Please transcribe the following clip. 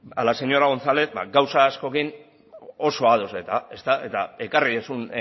a la señora gonzález gauza askorekin oso ados ezta eta ekarri duzun